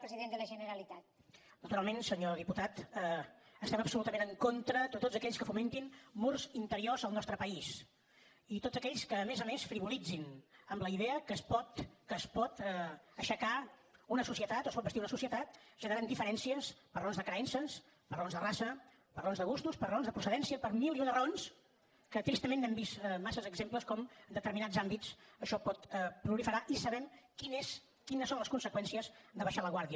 naturalment senyor diputat estem absolutament en contra de tots aquells que fomentin murs interiors al nostre país i tots aquells que a més a més frivolitzin amb la idea que es pot aixecar una societat o es pot bastir una societat generant diferències per raons de creences per raons de raça per raons de gustos per raons de procedència per mil i una raons que tristament n’hem vist massa exemples com en determinats àmbits això pot proliferar i sabem quines són les conseqüències d’abaixar la guàrdia